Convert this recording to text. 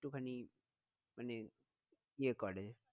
একটুখানি মানে ইয়ে করে